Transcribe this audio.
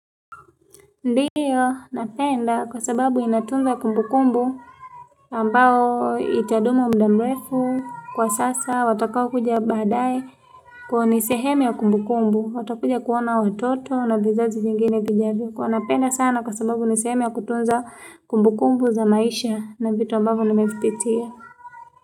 Ndiyo, napenda kwa sababu inatunza kumbu kumbu ambao itaduma muda mrefu kwa sasa watakaokuja baadae kuwa ni sehemu ya kumbu kumbu. Watakuja kuona watoto na vizazi vingine vijavyo. Kuwa napenda sana kwa sababu ni sehemu ya kutunza kumbu kumbu za maisha na vitu ambavyo nimevipitia.